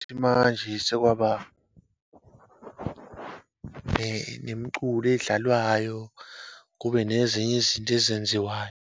Futhi manje sekwaba, nemiculo edlalwayo, kube nezinye izinto ezenziwayo.